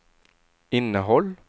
innehåll